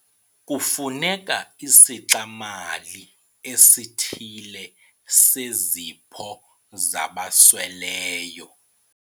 Kufuneka isixa-mali esithile sezipho zabasweleyo.